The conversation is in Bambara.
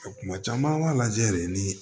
Kuma caman an b'a lajɛ de ni